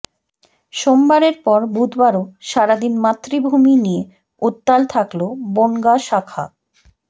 সোমবারের পর বুধবারও সারাদিন মাতৃভূমি নিয়ে উত্তাল থাকল বনগাঁ শাখা